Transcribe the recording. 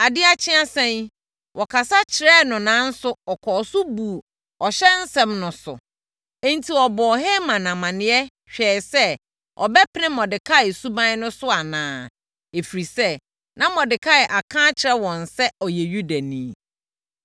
Adeɛ akye a ade asa yi, wɔkasa kyerɛɛ no nanso ɔkɔɔ so buu ɔhyɛ nsɛm no so. Enti, wɔbɔɔ Haman amaneɛ hwɛɛ sɛ ɔbɛpene Mordekai suban no so anaa, ɛfiri sɛ, na Mordekai aka akyerɛ wɔn sɛ ɔyɛ Yudani.